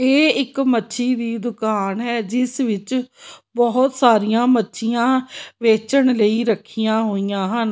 ਇਹ ਇੱਕ ਮੱਛੀ ਦੀ ਦੁਕਾਨ ਹੈ ਜਿਸ ਵਿੱਚ ਬਹੁਤ ਸਾਰੀਆਂ ਮੱਛੀਆਂ ਵੇਚਣ ਲਈ ਰੱਖੀਆਂ ਹੋਈਆਂ ਹਨ।